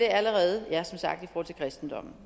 allerede i kristendommen